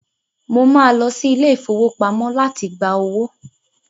Mo máa lọ sí ilé-ìfowópamọ láti gbá owó.